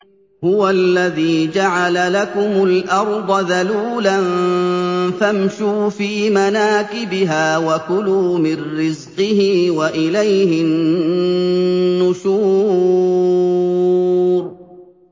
هُوَ الَّذِي جَعَلَ لَكُمُ الْأَرْضَ ذَلُولًا فَامْشُوا فِي مَنَاكِبِهَا وَكُلُوا مِن رِّزْقِهِ ۖ وَإِلَيْهِ النُّشُورُ